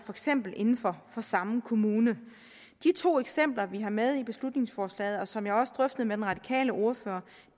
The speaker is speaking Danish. eksempel inden for samme kommune de to eksempler vi har med i beslutningsforslaget og som jeg også drøftede med den radikale ordfører